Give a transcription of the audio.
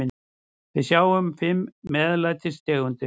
Við sjáum fimm MEÐLÆTIS tegundir.